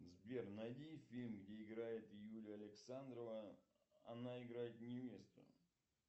сбер найди фильм где играет юлия александрова она играет невесту